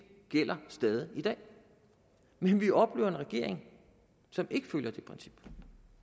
gælder stadig i dag men vi oplever en regering som ikke følger det princip